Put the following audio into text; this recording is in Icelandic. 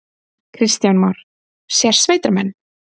Kristján Már: Sérsveitarmenn?